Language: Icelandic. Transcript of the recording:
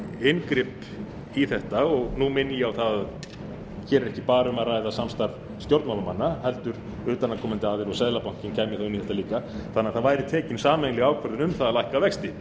inngrip í þetta og nú minni ég á að hér er ekki bara um ræða samstarf stjórnmálamanna heldur utanaðkomandi aðila og seðlabankinn kæmi þá inn í þetta líka þannig að það væri tekin sameiginleg ákvörðun um það að lækka vexti